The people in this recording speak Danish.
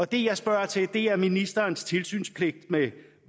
det jeg spørger til er ministerens tilsynspligt med